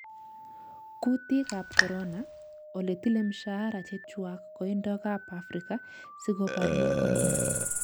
Kutiik ab corona: Ole tile mshahara chechwak kandoik ab Afrika siko baryee Corona